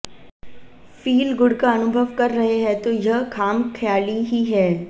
feel-good का अनुभव कर रहे हैं तो यह खाम ख्याली ही है